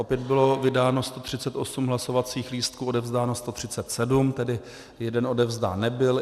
Opět bylo vydáno 138 hlasovacích lístků, odevzdáno 137, tedy jeden odevzdán nebyl.